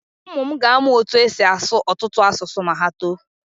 Ụmụ m ga-amụ otú e si asụ ọtụtụ asụsụ ma ha too.